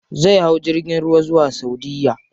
Zai hau jirgin ruwa zuwa saudiya.